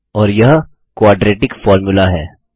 और यह quadratic formula है